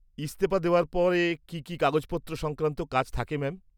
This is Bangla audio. ইস্তফা দেওয়ার পরে কী কী কাগজপত্র সংক্রান্ত কাজ থাকে ম্যাম?